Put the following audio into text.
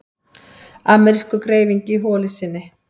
Amerískur greifingi í holu sinni.